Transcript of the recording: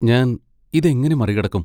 ഞാൻ ഇതെങ്ങനെ മറികടക്കും?